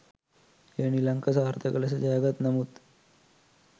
එය නිලංක සාර්ථක ලෙස ජයගත් නමුත්